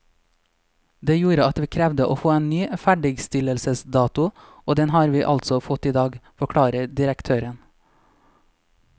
Det gjorde at vi krevde å få en ny ferdigstillelsesdato, og den har vi altså fått i dag, forklarer direktøren.